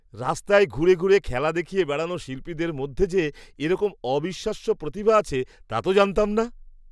রাস্তায় ঘুরে ঘুরে খেলা দেখিয়ে বেড়ানো শিল্পীদের মধ্যে যে এরকম অবিশ্বাস্য প্রতিভা আছে তা তো জানতাম না!